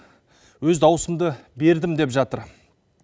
өз дауысымды бердім деп жатыр